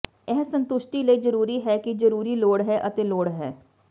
ਇਹ ਸੰਤੁਸ਼ਟੀ ਲਈ ਜ਼ਰੂਰੀ ਹੈ ਕਿ ਜ਼ਰੂਰੀ ਲੋੜ ਹੈ ਅਤੇ ਲੋੜ ਹੈ